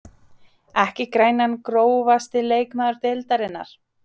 Ekki grænan Grófasti leikmaður deildarinnar?